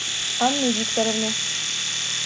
анну викторовну